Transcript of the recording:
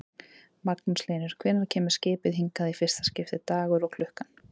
Magnús Hlynur: Hvenær kemur skipið hingað í fyrsta skiptið, dagur og klukkan?